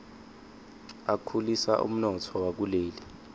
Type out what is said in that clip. akhulisa umnotfo wakuleli